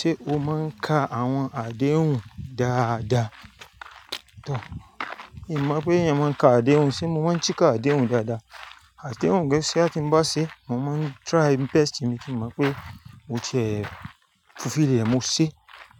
Ṣé o máa ń ka àwọn àdéhùn dáa? Daa, mi mọ̀ pé èèyàn máa ń ka àdéhùn, ṣé mo máa ń sika àdéhùn dáadáa? Àdéhùn géẹ́ṣẹ́ a ti ń bá ṣe, mo máa ń try my best. Èmi ti mọ̀ pé mo ti ẹ fufili rẹ̀, mo ṣe,